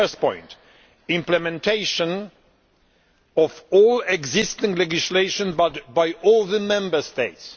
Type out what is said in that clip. The first point implementation of all existing legislation by all the Member States.